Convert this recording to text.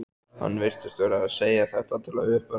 Hann virtist vera að segja þetta til að uppörva mig.